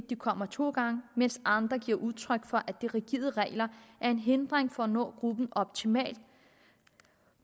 de kommer to gange mens andre giver udtryk for at de rigide regler er en hindring for at nå gruppen optimalt